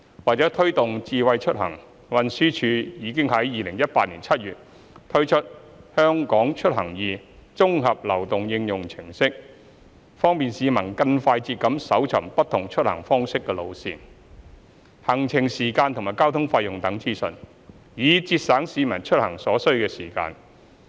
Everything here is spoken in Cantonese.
為推動"智慧出行"，運輸署已於2018年7月推出"香港出行易"綜合流動應用程式，方便市民更快捷地搜尋不同出行方式的路線、行程時間及交通費用等資訊，以節省市民出行所需時間。